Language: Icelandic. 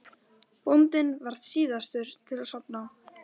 Bóndinn varð síðastur til að sofna.